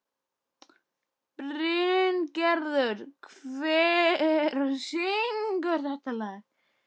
Bryngerður, hver syngur þetta lag?